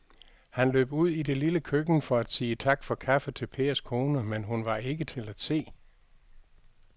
Han løb ud i det lille køkken for at sige tak for kaffe til Pers kone, men hun var ikke til at se.